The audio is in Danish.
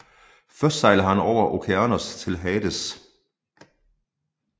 Først sejler han over Okeanos til Hades